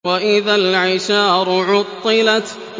وَإِذَا الْعِشَارُ عُطِّلَتْ